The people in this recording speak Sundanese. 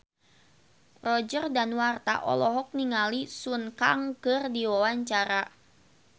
Roger Danuarta olohok ningali Sun Kang keur diwawancara